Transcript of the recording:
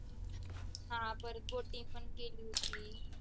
हा परत boating पण केली होती.